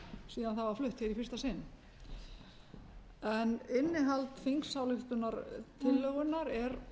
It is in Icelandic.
síðan það var flutt hér í fyrsta sinn en innihald þingsályktunartillögunnar er